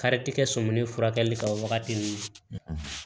Karitikɛ sɔmin furakɛli kan o wagati ni